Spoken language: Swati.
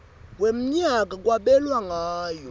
wemnyaka kwabelwa ngayo